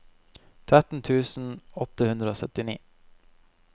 tretten tusen åtte hundre og syttini